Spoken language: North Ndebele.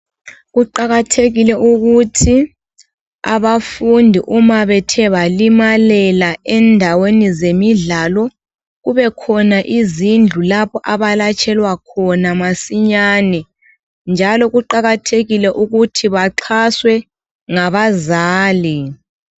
Kuqakathekile ukuthi abafundi uma bethe balimalela endaweni zemidlalo. Kubekhona izindlu lapha abelatshelwa khona masinyane, njalo kuqakathekile. ukuthi baxhaswe ngabazali.